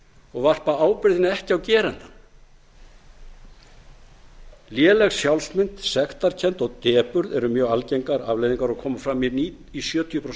og varpa ábyrgðinni ekki á gerandann léleg sjálfsmynd sektarkennd og depurð eru mjög algengar afleiðingar og koma fram í sjötíu prósent